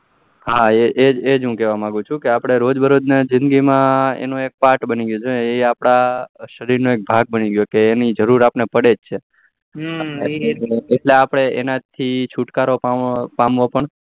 હા એજ એજ હું કેવા માગ્યું છું આપડે રોજ બે રોજ જીંદગી માં એનો એક part બની ગયો છે કે એ આપડા શરીર નો ભાગ બની ગયો છે કે એની જરૂર અપડેને જરૂર પડે છે એટલે આપડે એના થી છુટકારો પામવો પણ